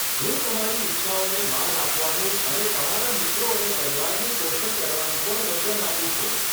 હું તમારી ઇચ્છાઓને માન આપવાનું અને તમારા મિત્રો અને પરિવારનું પોષણ કરવાનું પણ વચન આપું છું.